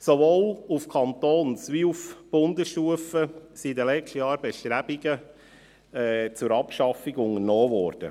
Sowohl auf Kantons- wie auf Bundesstufe wurden in den letzten Jahren Bestrebungen zur Abschaffung unternommen.